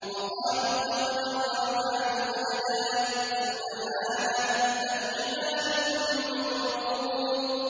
وَقَالُوا اتَّخَذَ الرَّحْمَٰنُ وَلَدًا ۗ سُبْحَانَهُ ۚ بَلْ عِبَادٌ مُّكْرَمُونَ